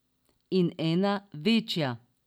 In ena večja.